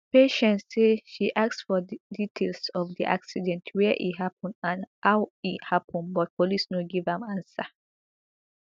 patience say she ask for details of di accident wia e happun and how e happun but police no give am answer